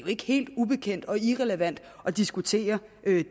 ikke helt ubekendt og irrelevant at diskutere